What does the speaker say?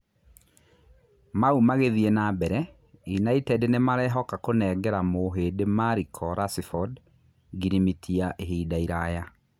Mau magĩ thiĩ na mbere Inaited nĩ marehoka kũnengera mũhĩ ndi Mariko Racibodi ngirimiti ya ihinda iraya.